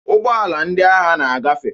Ụgbọala ndị agha na-agafe.